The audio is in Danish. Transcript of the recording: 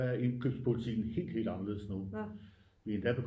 Er indkøbspolitiken helt anderledes nu vi er endda